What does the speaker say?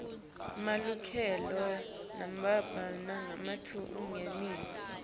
lemukelekako nalebumbene ngalokulingene